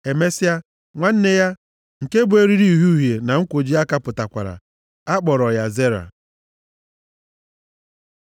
Emesịa, nwanne ya, nke bu eriri uhie uhie ahụ na nkwoji aka pụtakwara. A kpọrọ ya Zera.